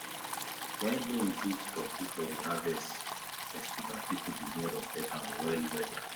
when he give turkey for harvest festival people begin respect am wellwell